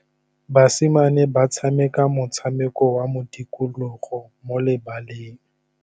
Basimane ba tshameka motshameko wa modikologô mo lebaleng.